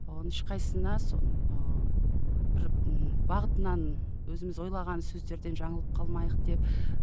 оған ешқайсысына соны ыыы бір ы бағытынан өзіміз ойлаған сөздерден жаңылып қалмайық деп